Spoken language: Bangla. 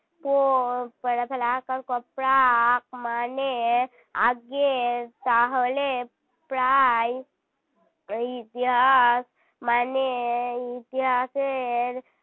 পো প এ রফলা আকার ক প্রাক মানে আগের তাহলে প্রায় ইতিহাস মানে ইতিহাসের